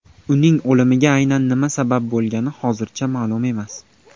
Uning o‘limiga aynan nima sabab bo‘lgani hozircha ma’lum emas.